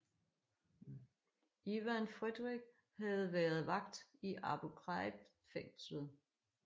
Ivan Fredrick havde været vagt i Abu Ghraib fængslet